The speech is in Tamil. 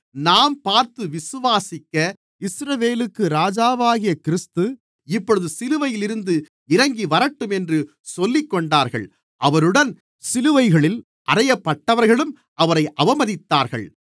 நாம் பார்த்து விசுவாசிக்க இஸ்ரவேலுக்கு ராஜாவாகிய கிறிஸ்து இப்பொழுது சிலுவையில் இருந்து இறங்கிவரட்டும் என்று சொல்லிக்கொண்டார்கள் அவருடன் சிலுவைகளில் அறையப்பட்டவர்களும் அவரை அவமதித்தார்கள்